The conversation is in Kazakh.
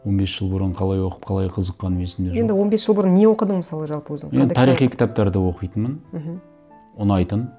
он бес жыл бұрын қалай оқып қалай қызыққаным есімде жоқ енді он бес жыл бұрын не оқыдың мысалы жалпы өзің мен тарихи кітаптарды оқитынмын мхм ұнайтын